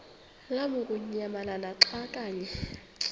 lamukunyamalala xa kanye